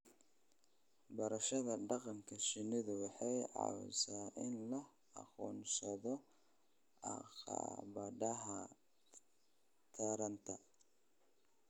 Barashada dhaqanka shinnidu waxay caawisaa in la aqoonsado caqabadaha taranta.